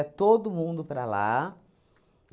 todo mundo para lá.